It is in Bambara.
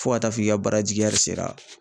Fo ka taa f'i ka baara jigi sera